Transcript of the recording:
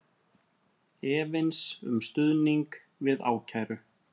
Efins um stuðning við ákæru